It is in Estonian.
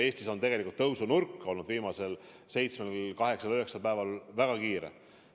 Eestis ongi tegelikult tõusunurk viimasel seitsmel-kaheksal-üheksal päeval väga järsk olnud.